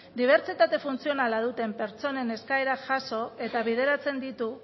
dibertsitate funtzionala duten pertsonen eskaerak jaso eta bideratzen ditu